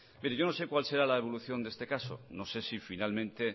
bien mire yo no sé cuál será la evolución de este caso no sé si finalmente